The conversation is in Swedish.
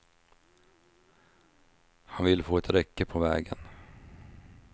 Han vill få ett räcke på vägen.